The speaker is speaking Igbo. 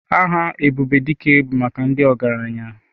Aha Ebubedike bụ maka ndị ọgaranya.